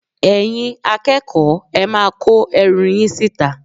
Ẹ̀yin akẹ́kọ̀ọ́, ẹ máa kó ẹrù yín síta